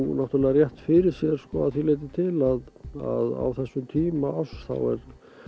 rétt fyrir sér að því leitinu til að á þessum tíma árs þá